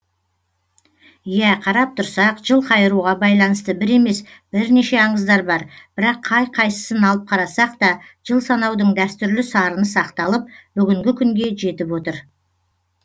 иә қарап тұрсақ жыл қайыруға байланысты бір емес бірнеше аңыздар бар бірақ қай қайсысын алып қарасақ та жыл санаудың дәстүрлі сарыны сақталып бүгінгі күнге жетіп отыр